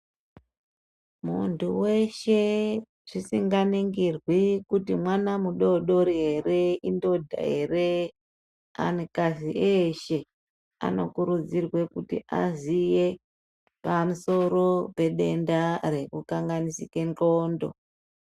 Muntu weshe zvisinganingirwi kuti mwana mudodori ere indodha ere anhu kadzi eshe ano kurudzirwa kuti azive pamusoro pedenda rekukanganisika ndxondo.